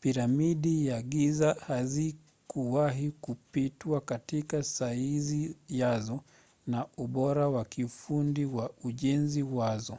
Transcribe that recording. piramidi za giza hazikuwahi kupitwa katika saizi yazo na ubora wa kiufundi wa ujenzi wazo